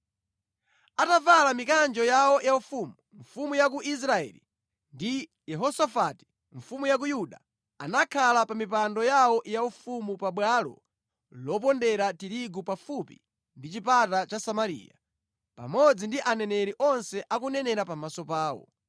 Atavala mikanjo yawo yaufumu, mfumu ya ku Israeli ndi Yehosafati mfumu ya ku Yuda anakhala pa mipando yawo yaufumu pabwalo lopondera tirigu pafupi ndi chipata cha Samariya, pamodzi ndi aneneri onse akunenera pamaso pawo.